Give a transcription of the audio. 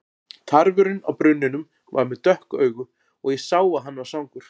Tarfurinn á brunninum var með dökk augu og ég sá að hann var svangur.